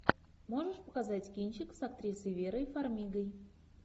можешь показать кинчик с актрисой верой фармигой